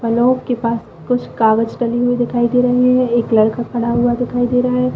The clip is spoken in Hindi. और लोग के पास कुछ कागज कलम भी दिखाई दे रहे है एक लड़का खड़ा हुआ भी दिखाई दे रहे है।